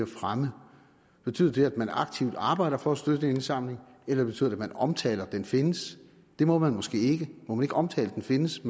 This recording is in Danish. fremme betyder det at man aktivt arbejder for at støtte en indsamling eller betyder det at man omtaler at den findes må man måske ikke det må man ikke omtale at den findes